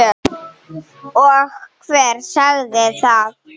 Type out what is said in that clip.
Og hver sagði það?